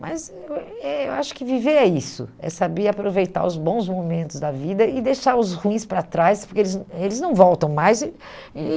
Mas eh eu acho que viver é isso, é saber aproveitar os bons momentos da vida e deixar os ruins para trás, porque eles eles não voltam mais e e